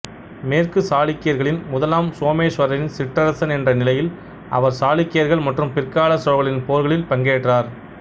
மேற்கு சாளுக்கியர்களின் முதலாம் சோமேஸ்வரரின் சிற்றரசன் என்ற நிலையில் அவர் சாளுக்கியர்கள் மற்றும் பிற்கால சோழர்களின் போர்களில் பங்கேற்றார்